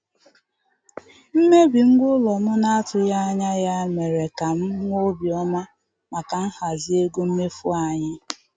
Mmebi ngwa ụlọ m na-atụghị anya ya mere ka m nwee obi ọma maka nhazi ego mmefu anyị.